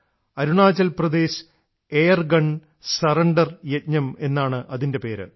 Arunachal Pradesh air gun surrender യജ്ഞം എന്നാണതിൻറെ പേര്